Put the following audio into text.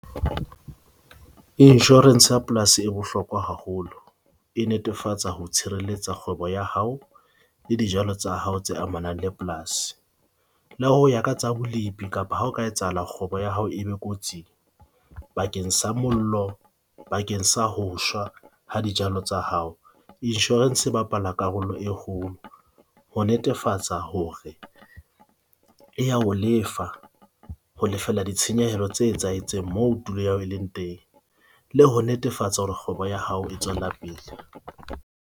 Insurance ya polasi e bohlokwa haholo e netefatsa ho tshireletsa kgwebo ya hao le dijalo tsa hao tse amanang le polasi. Le ho ya ka tsa bolipi kapa ha ho ka etsahala, kgwebo ya hao e be kotsing bakeng sa mollo bakeng sa ho shwa ha dijalo tsa hao. Insurance e bapala karolo e kgolo ho netefatsa hore ya ho lefa ho lefella ditshenyehelo tse etsahetseng moo tulo ya hao e leng teng le ho netefatsa hore kgwebo ya hao e tswela pele.